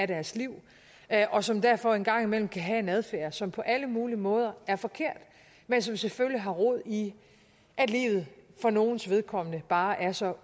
deres liv og som derfor en gang imellem kan have en adfærd som på alle mulige måder er forkert men som selvfølgelig har rod i at livet for nogles vedkommende bare er så